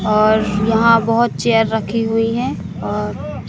और यहां बहुत चेयर रखी हुई हैं और--